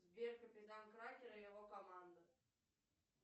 сбер капитан кракен и его команда